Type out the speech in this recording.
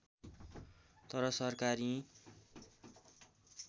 तर सरकार यी